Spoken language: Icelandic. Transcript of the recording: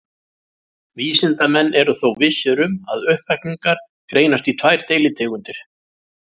Vísindamenn eru þó vissir um að uppvakningar greinast í tvær deilitegundir.